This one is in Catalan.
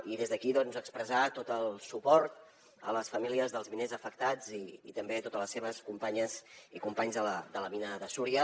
i des d’aquí doncs expressar tot el suport a les famílies dels miners afectats i també a totes les seves companyes i companys de la mina de súria